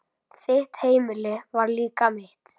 Þitt heimili var líka mitt.